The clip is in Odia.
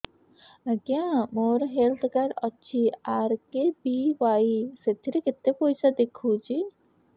ଆଜ୍ଞା ମୋର ହେଲ୍ଥ କାର୍ଡ ଅଛି ଆର୍.କେ.ବି.ୱାଇ ସେଥିରେ କେତେ ପଇସା ଦେଖଉଛି